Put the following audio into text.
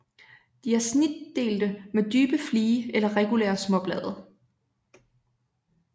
De er snitdelte med dybe flige eller regulære småblade